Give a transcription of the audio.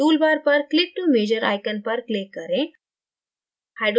tool bar पर click to measure icon पर click करें